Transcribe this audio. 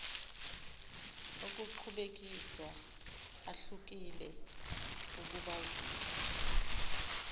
okuqhubekiswa ahlukile ukubazisa